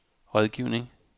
rådgivning